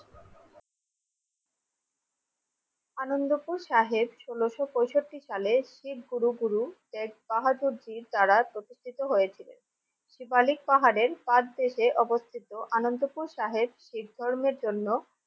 আনন্দপুর সাহেব ষোলশ পঁয়ষট্টি সালে শিখ গুরু গুরু শেখ বাহাদুর জির দ্বারা প্রতিষ্ঠিত হয়েছিলেন। শিবালিক পাহাড়ের প্রাগ দেশে অবস্থিত আনন্দপুর সাহেব শিখ ধর্মের জন্য